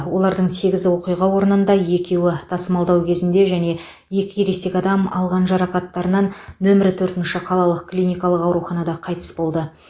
олардың сегізі оқиға орнында екеуі тасымалдау кезінде және екі ересек адам алған жарақаттарынан нөмір төрт қалалық клиникалық ауруханада қайтыс болды